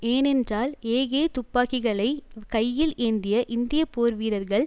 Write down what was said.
ஏனென்றால் ஏகே துப்பாக்கிகளை கையில் ஏந்திய இந்திய போர் வீரர்கள்